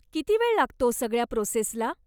किती वेळ लागतो सगळ्या प्रोसेस ला?